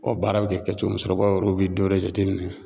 baara bɛ kɛ kɛcogo min sokɔrɔbaw bɛ dɔwɛrɛ jate minɛ